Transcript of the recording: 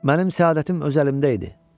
Mənim səadətim öz əlimdə idi.